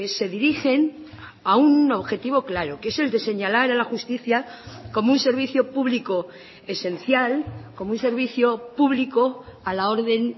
se dirigen a un objetivo claro que es el de señalar a la justicia como un servicio público esencial como un servicio público a la orden